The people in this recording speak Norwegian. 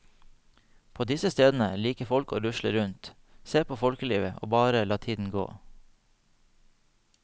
På disse stedene liker folk å rusle rundt, se på folkelivet og bare la tiden gå.